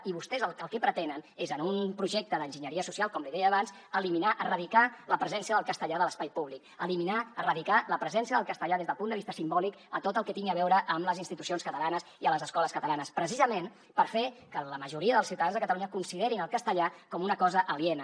i vostès el que pretenen és en un projecte d’enginyeria social com li deia abans eliminar erradicar la presència del castellà de l’espai públic eliminar erradicar la presència del castellà des del punt de vista simbòlic a tot el que tingui a veure amb les institucions catalanes i a les escoles catalanes precisament per fer que la majoria dels ciutadans de catalunya considerin el castellà com una cosa aliena